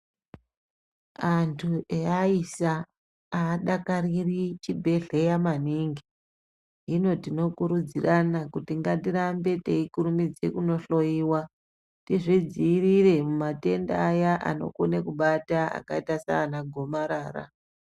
Antu evaisa avadakariri chibhedhlera maningi hino tino kurudzirana kuti ngatirambe teikurumidza kundohloiwa tizvidzivirire kumatenda aya anokona kubata akaita sana gomarara.